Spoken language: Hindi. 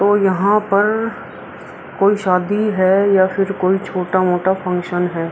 और यहाँ पर कोई शादी है या फिर कोई छोटा-मोटा फंक्शन है।